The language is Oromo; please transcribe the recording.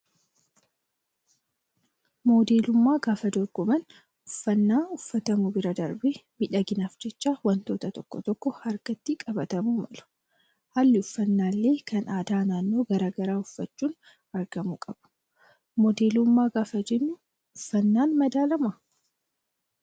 Modeelummaa gaafa dorgoman uffannaa uffatamu bira darbee miidhaginaaf jecha wantoonni tokko tokko harkatti qabatamuu malu. Haalli uffannaa illee kan aadaa naannoo garaagaraa uffachuun argamuu qabu. Modeelummaa gaafa jennu uffannaan madaalamaa?